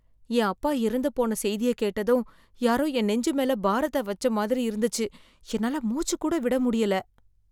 என் அப்பா இறந்துபோன செய்திய கேட்டதும் யாரோ என் நெஞ்சு மேல பாரத்தை வச்ச மாதிரி இருந்துச்சு, என்னால மூச்சு கூட விட முடியல